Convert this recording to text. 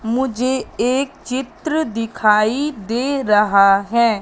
मुझे एक चित्र दिखाई दे रहा है।